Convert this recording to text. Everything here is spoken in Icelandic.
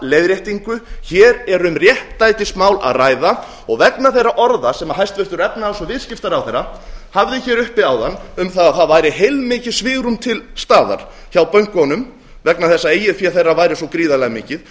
hér er um réttlætismál að ræða og vegna þeirra orða sem hæstvirtur efnahags og viðskiptaráðherra hafði hér uppi áðan um það að það það væri heilmikið svigrúm til staðar hjá bönkunum vegna að eigið fé þeirra væri svo gríðarlega mikið